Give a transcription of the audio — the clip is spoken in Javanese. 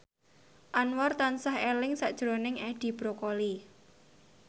Anwar tansah eling sakjroning Edi Brokoli